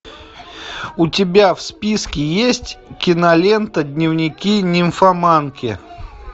у тебя в списке есть кинолента дневники нимфоманки